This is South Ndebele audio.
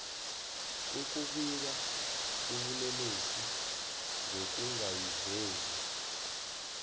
ukubika ubulelesi ngokungazivezi